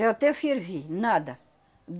Eu até fervi, nada.